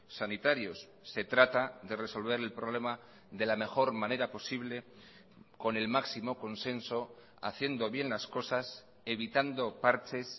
sanitarios se trata de resolver el problema de la mejor manera posible con el máximo consenso haciendo bien las cosas evitando parches